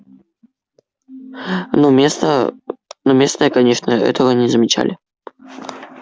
но местные конечно этого не замечали